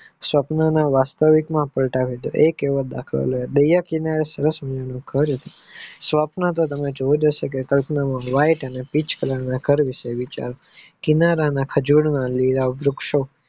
સ્વપ્ન ના વાસ્તવિકમાં પલટાવી એ કહેવા સ્વપ્ન તો તમે જોય લેશો કે whaite અને pich Color ની કરી છે કિનારાના ખજૂર ને લીલા વૃક્ષો